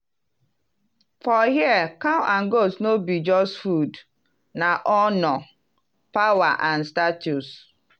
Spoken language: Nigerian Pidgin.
for here cow and goat no be just food - na honor power and status.